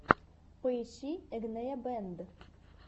поищи игнея бэнд